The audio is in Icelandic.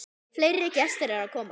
Fleiri gestir eru að koma.